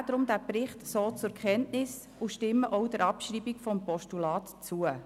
Wir nehmen den Bericht deshalb so zur Kenntnis und stimmen auch der Abschreibung des Postulats zu.